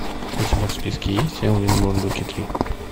у тебя в списке есть элвин и бурундуки три